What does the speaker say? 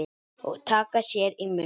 Og taka sér í munn.